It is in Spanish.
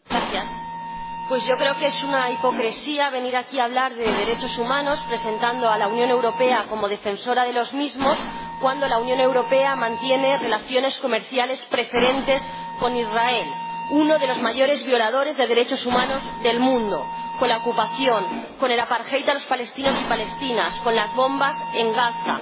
Señor Presidente, creo que es una hipocresía venir aquí a hablar de derechos humanos, presentando a la Unión Europea como defensora de los mismos, cuando la Unión Europea mantiene relaciones comerciales preferentes con Israel, uno de los mayores violadores de derechos humanos del mundo, con la ocupación, con el a los palestinos y palestinas, con las bombas en Gaza.